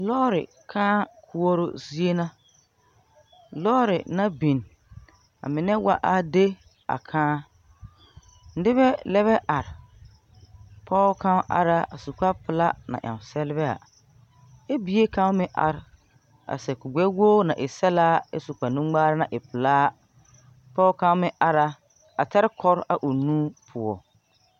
Lɔɔre kᾱᾱ koɔroo zie na, lɔɔre naŋ biŋ, amine wa a de a kᾱᾱ. Nebɛ lɛbɛ are, pɔge kaŋ are a su kparepelaa na yaŋ selvaɛ, ɛ bie kaŋ meŋ are a sɛb kurigbɛwogri na e sɛlbaa, ɛ su kparenuŋmaara na e pelaa. Pɔge kaŋ meŋ ara, a taa kɔre a o nu poɔ.